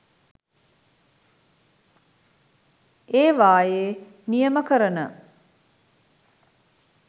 ඒවායේ නියම කරන